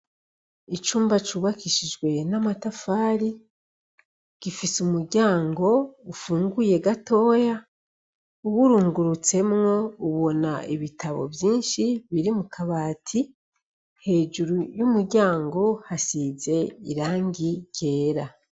Icumba cubakishijwe namatafari gifise umuryango ufunguye gatoya uwurungurutsemwo ubona ibitabo vyinshi biri mu kabati hejuru yumuryango hasize irangi ryera .